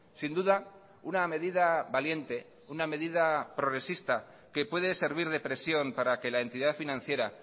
sin duda una medida valiente una medida progresista que puede servir de presión para que la entidad financiera